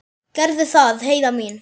Gerðu það, Heiða mín.